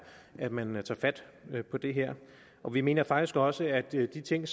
at man tager fat på det her og vi mener faktisk også at de ting